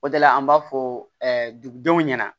O de la an b'a fɔ ɛɛ dugudenw ɲɛna